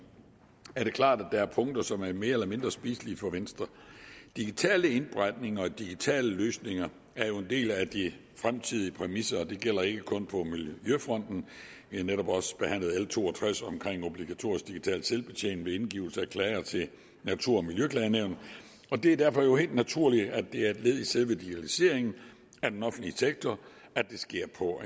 er det klart at der er punkter som er mere eller mindre spiselige for venstre digitale indberetninger og digitale løsninger er jo en del af de fremtidige præmisser og det gælder ikke kun på miljøfronten vi har netop også behandlet l to og tres om obligatorisk digital selvbetjening ved indgivelse af klager til natur og miljøklagenævnet og det er derfor helt naturligt at det er et led i selve digitaliseringen af den offentlige sektor at det sker på